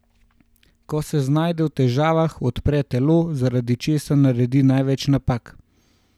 Ko se znajde v težavah, odpre telo, zaradi česar naredi največ napak.